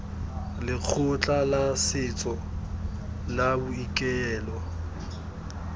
lekgotla la setso la boikuelo